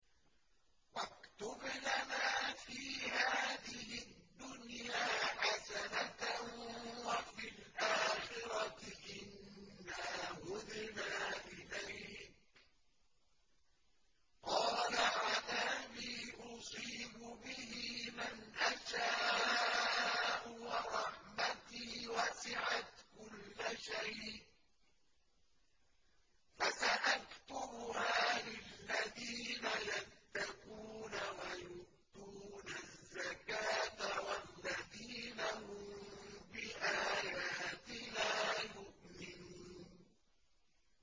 ۞ وَاكْتُبْ لَنَا فِي هَٰذِهِ الدُّنْيَا حَسَنَةً وَفِي الْآخِرَةِ إِنَّا هُدْنَا إِلَيْكَ ۚ قَالَ عَذَابِي أُصِيبُ بِهِ مَنْ أَشَاءُ ۖ وَرَحْمَتِي وَسِعَتْ كُلَّ شَيْءٍ ۚ فَسَأَكْتُبُهَا لِلَّذِينَ يَتَّقُونَ وَيُؤْتُونَ الزَّكَاةَ وَالَّذِينَ هُم بِآيَاتِنَا يُؤْمِنُونَ